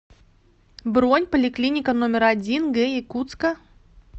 бронь поликлиника номер один г якутска